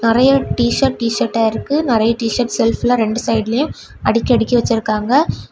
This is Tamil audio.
நிறைய டி_ஷர்ட் டி_சர்ட் ஆ இருக்கு. நிறைய டி_ஷர்ட் செல்ஃப்ல ரெண்டு சைடுலையும் அடிக்கடிக்கி வச்சிருக்காங்க.